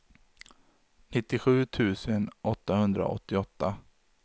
nittiosju tusen åttahundraåttioåtta